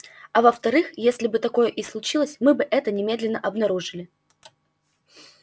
а во вторых если бы такое и случилось мы бы это немедленно обнаружили